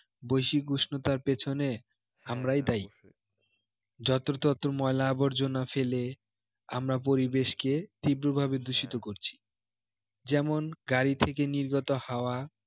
বৈশ্বিক উষ্ণতার পেছনে আমরাই দায়ী যত্রতত্র ময়লা আবর্জনা ফেলে আমরা পরিবেশকে তীব্রভাবে দূষিত করছি যেমন গাড়ি থেকে নির্গত হাওয়া